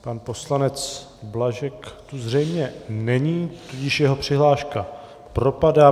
Pan poslanec Blažek tu zřejmě není, tudíž jeho přihláška propadá.